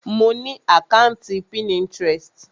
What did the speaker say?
Mo ni àkàntí Pinterest.